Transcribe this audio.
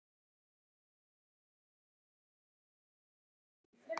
Broddi, hefur þú prófað nýja leikinn?